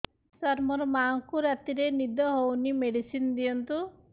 ସାର ମୋର ମାଆଙ୍କୁ ରାତିରେ ନିଦ ହଉନି ମେଡିସିନ ଦିଅନ୍ତୁ